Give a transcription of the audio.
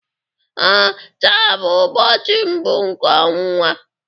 Ee, taa bụ ụbọchị mbụ nke ọnwa